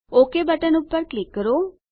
okay button પર click કરો